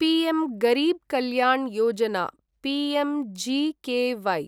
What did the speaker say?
PM Garib Kalyan Yojana PMGKY